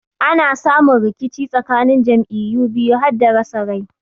Ana samu rikici tsakanin jam'iyyu biyu hada rasa rai.